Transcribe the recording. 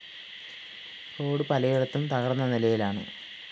road പലയിടത്തും തകര്‍ന്ന നിലയിലാണ്